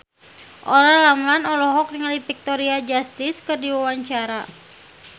Olla Ramlan olohok ningali Victoria Justice keur diwawancara